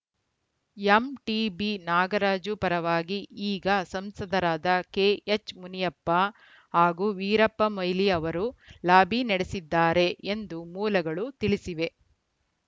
MTB Nagaraju ಪರವಾಗಿ ಈಗ ಸಂಸದರಾದ ಕೆಎಚ್‌ ಮುನಿಯಪ್ಪ ಹಾಗೂ ವೀರಪ್ಪ ಮೊಯ್ಲಿ ಅವರು ಲಾಬಿ ನಡೆಸಿದ್ದಾರೆ ಎಂದು ಮೂಲಗಳು ತಿಳಿಸಿವೆ